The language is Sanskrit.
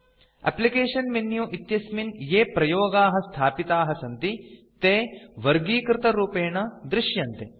एप्लिकेशन मेनु इत्यस्मिन् ये प्रयोगाः स्थापिताः सन्ति ते वर्गीकृतरूपेण दृश्यन्ते